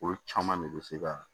Olu caman de bɛ se ka